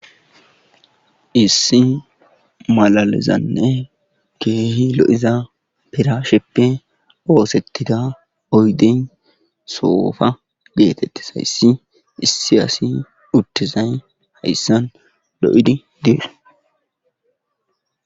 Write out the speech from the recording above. issi malalezanne keehi lo7iza pirasheppe oosettida oyden soofa geetettizayssi issi asi uttizay heyssan lo7idi diir